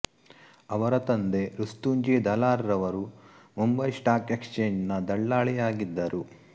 ಅವರ ತಂದೆ ರುಸ್ತುಂಜಿ ದಲಾರ್ ರವರು ಮುಂಬಯಿ ಸ್ಟಾಕ್ ಎಕ್ಸ್ ಚೇಂಗ್ ನ ದಳ್ಳಾಳಿಯಾಗಿದ್ದರು